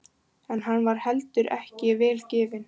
En hann var heldur ekki vel gefinn.